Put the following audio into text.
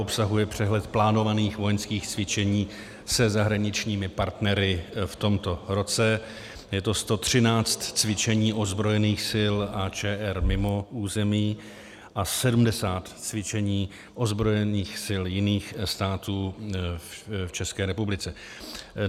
Obsahuje přehled plánovaných vojenských cvičení se zahraničními partnery v tomto roce, je to 113 cvičení ozbrojených sil ČR mimo území a 70 cvičení ozbrojených sil jiných států v České republice.